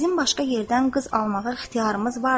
Bizim başqa yerdən qız almağa ixtiyarımız vardır.